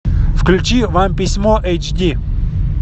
включи вам письмо эйч ди